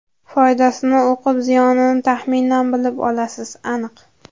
Foydasini o‘qib, ziyonini taxminan bilib olasiz, aniq.